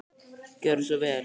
Gjörðu svo vel.